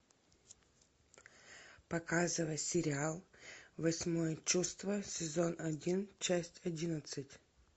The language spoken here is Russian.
показывай сериал восьмое чувство сезон один часть одиннадцать